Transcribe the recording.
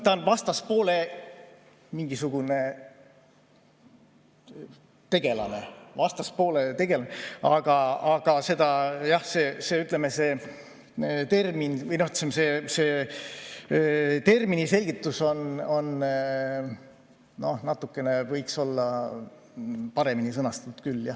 Ta on vastaspoole mingisugune tegelane, aga jah, see selgitus võiks olla paremini sõnastanud küll.